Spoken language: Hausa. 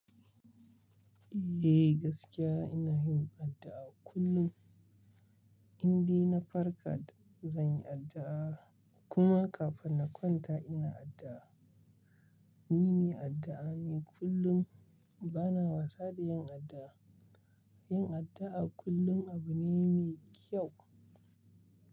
Eh gaskiya ina yin addu'a kullum, indai na farka zan yi addu'a kuma kafin na kwanta inyi addu'a. Ni mai addu'a ne kullum bana wasa da yin addu'a. Yin addu'a kullum abu ne mai kyau.